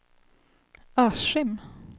Askim